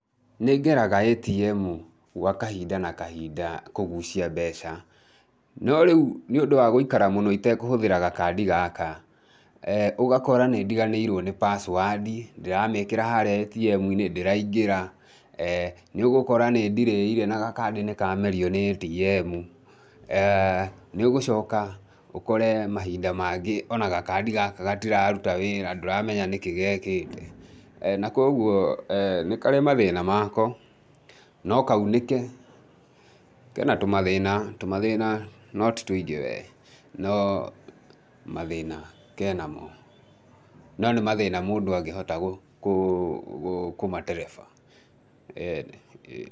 Nĩ ngeraga ATM gwa kahinda na kahinda kũgucia mbeca, no rĩu nĩ ũndũ wa gũikara mũno itekũhũthĩra gakandi gaka, ũgakora nĩ ndiganĩirwo nĩ password ndĩramĩkĩra harĩa ATM-inĩ, ndĩraingĩra, nĩ ũgũkora nĩ ĩndirĩire na gakandi nĩ kamerio nĩ ATM. Nĩ ũgũcoka ũkore mahinda mangĩ o na gakandi gaka gatiraruta wĩra na ndũramenya nĩ kĩ gekĩte,. Na kwoguo, nĩ karĩ mathĩna mako, no kaunĩke, ke na tũmathĩna, tũmathĩna no ti tũingĩ we, no mathĩna ke namo. No nĩ mathĩna mũndũ angĩhota kũmatereba, ĩĩni ĩĩni.